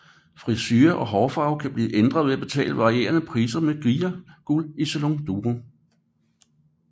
Frisure og hårfarve kan blive ændret ved at betale varierende priser med Gaia Guld i Salon Durem